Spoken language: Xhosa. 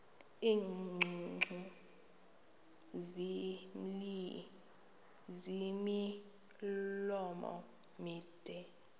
iingcungcu ezimilomo mide